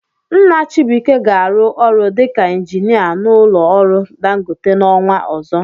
Nna Chibuike ga-arụ ọrụ dịka injinia n'ụlọ ọrụ Dangote n'ọnwa ọzọ.